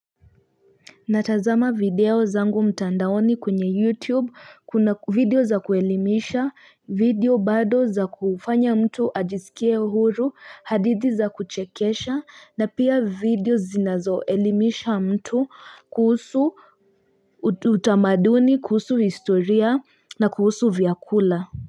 Natazama video zangu mtandaoni kwwnye youtube kuna video za kuelimisha video bado za kufanya mtu ajisikia huru adidi za kuchekesha na pia video zinazo elimisha mtu kuhusu utamaduni kuhusu historia na kuhusu vyakula.